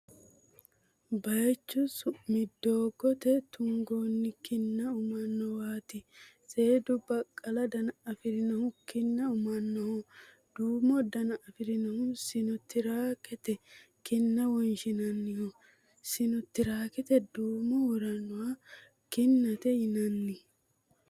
Bayichu su'mi doogote tunganni kinna ummanniwaati. seedu baqqala dana afi'rinohu kinna umannoho. Duumo dana afi'rinohu sino tiraakete kinna wonshannoho. Sino tiraakete duumu worannoha kinnate yinanni.